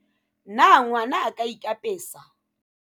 na ngwana a ka ikapesa?